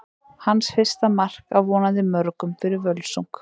Hans fyrsta mark, af vonandi mörgum, fyrir Völsung!